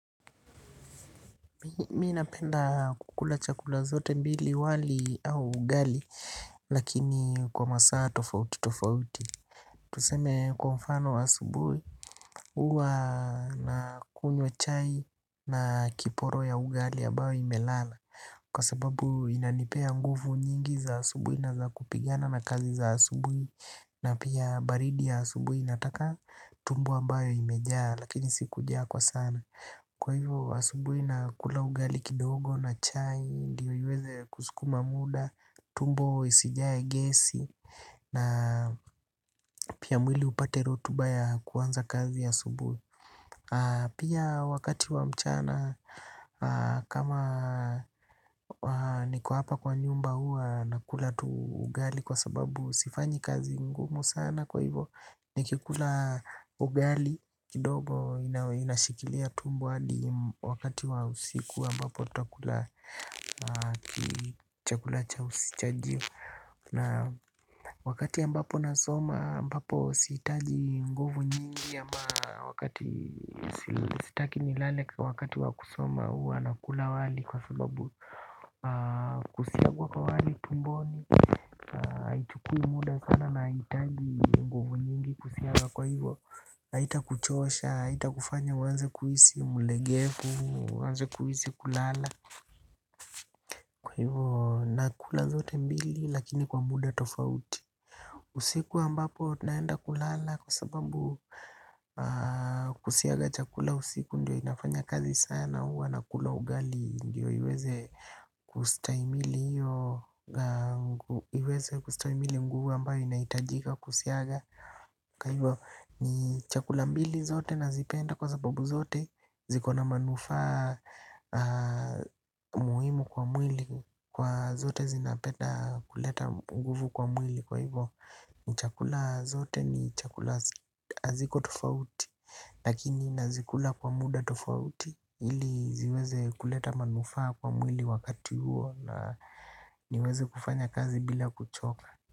Mimi napenda kukula chakula zote mbili wali au ugali lakini kwa masaa tofauti tofauti. Tuseme kwa mfano asubuhi huwa nakunywa chai na kiporo ya ugali ambayo imelala. Kwa sababu inanipea nguvu nyingi za asubuhi na zakupigana na kazi za asubuhi na pia baridi ya asubuhi inataka tumbo ambayo imejaa lakini si kujaa kwa sana. Kwa hivyo asubuhi nakula ugali kidogo na chai, ndio iweze kusukuma muda, tumbo isijae gesi na pia mwili upate rotuba ya kuanza kazi ya asubuhi. Pia wakati wa mchana kama niko hapa kwa nyumba huwa nakula tu ugali kwa sababu sifanyi kazi ngumu sana kwa hivyo nikikula ugali kidogo inashikilia tumbo hadi wakati wa usiku ambapo tutakula kichakula chajio. Na wakati ambapo nasoma ambapo sihitaji nguvu nyingi ama wakati sitaki nilale wakati wa kusoma huwa nakula wali. Kwa sababu kusiagwa kwa wali tumboni haichukui muda sana na haihitaji nguvu nyingi kusiaga kwa hivyo haitakuchosha, haitakufanya uanze kuhisi mlegevu, uanze kuhisi kulala. Kwa hivo nakula zote mbili lakini kwa muda tofauti. Usiku ambapo naenda kulala kwa sababu kusiaga chakula usiku ndio inafanya kazi sana huwa nakula ugali. Ndio iweze kustahimili nguvu ambayo inahitajika kusiaga. Kwa hivo ni chakula mbili zote nazipenda kwa sababu zote zikona manufaa muhimu kwa mwili. Kwa zote zinapenda kuleta nguvu kwa mwili. Kwa hivo ni chakula zote ni chakula haziko tofauti. Lakini nazikula kwa muda tofauti ili ziweze kuleta manufaa kwa mwili wakati huo na niweze kufanya kazi bila kuchoka.